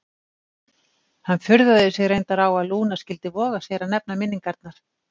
Hann furðaði sig reyndar á að Lúna skyldi voga sér að nefna minningarnar.